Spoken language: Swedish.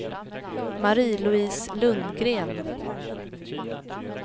Marie-Louise Lundgren